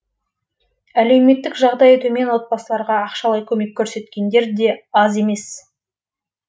әлеуметтік жағдайы төмен отбасыларға ақшалай көмек көрсеткендер де аз емес